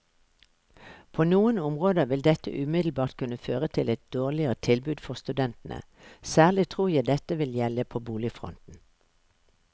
På noen områder vil dette umiddelbart kunne føre til et dårligere tilbud for studentene, særlig tror jeg dette vil gjelde på boligfronten.